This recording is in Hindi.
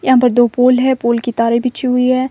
यहां पे दो पोल है पोल की तारे पीछे हुई है।